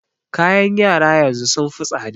Kayan yara yanzu sun yi tsaɗa.